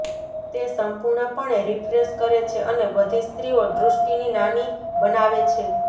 તે સંપૂર્ણપણે રીફ્રેશ કરે છે અને બધી સ્ત્રીઓ દૃષ્ટિની નાની બનાવે છે